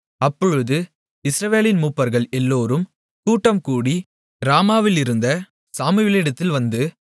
அப்பொழுது இஸ்ரவேலின் மூப்பர்கள் எல்லோரும் கூட்டம்கூடி ராமாவிலிருந்த சாமுவேலிடத்தில் வந்து